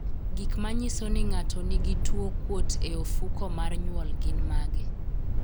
Gik manyiso ni ng'ato nigi tuwo kuot e ofuko mar nywol gin mage?